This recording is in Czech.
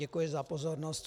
Děkuji za pozornost.